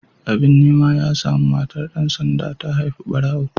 Abin nema ya samu, matar dan sanda ta haifi barawo.